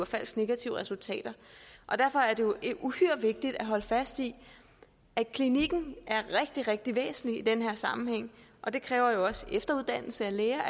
falsk negative resultater derfor er det jo uhyre vigtigt at holde fast i at det kliniske er rigtig rigtig væsentligt i den her sammenhæng og det kræver jo efteruddannelse af læger